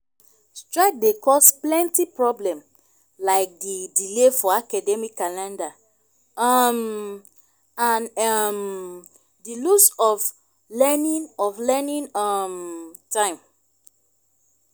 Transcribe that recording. strike dey cause plenty problem like di delay for academic calendar um and um di lose of learning of learning um time.